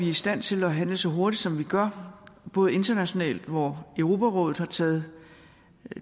i stand til at handle så hurtigt som vi gør både internationalt hvor europarådet har taget